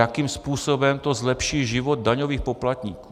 Jakým způsobem to zlepší život daňových poplatníků?